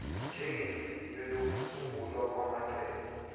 njengenhliziyo yokusungulwa kwamacebo